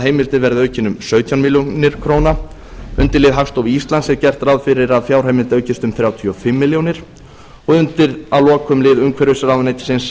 heimildin verði aukin um sautján ár undir lið hagstofu íslands er gert ráð fyrir að fjárheimild aukist um þrjátíu og fimm ár að lokum er undir lið umhverfisráðuneytisins